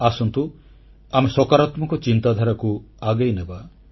ଆସନ୍ତୁ ଆମେ ସକାରାତ୍ମକ ଚିନ୍ତାଧାରାକୁ ଆଗେଇନେବା